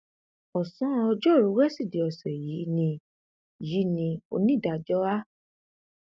ọsán ọjọrùú wíṣídẹẹ ọsẹ yìí ni yìí ni onídàájọ a